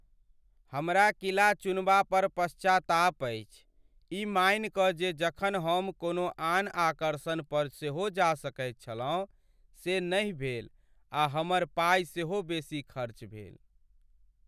हमरा किला चुनबा पर पश्चाताप अछि, ई मानि कऽ जे जखन हम कोनो आन आकर्षण पर सेहो जा सकैत छलहुँ, से नहि भेल आ हमर पाइ सेहो बेसी खर्च भेल।